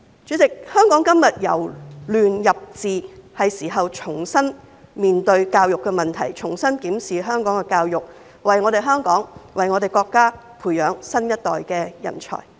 主席，香港今天由亂入治，是時候重新面對教育的問題，重新檢視香港的教育，為香港和國家培養新一代的人才。